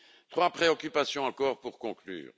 Trois préoccupations encore pour conclure.